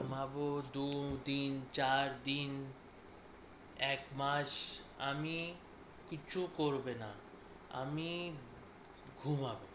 ঘুমাবো দুদিন চারদিন এক মাস আমি কিছু করবে না আমি ঘুমাবো